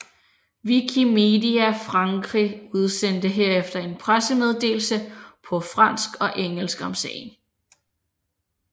Wikimedia Frankrig udsendte herefter en pressemeddelelse på fransk og engelsk om sagen